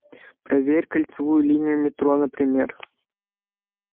проверь кольцевую линию метро например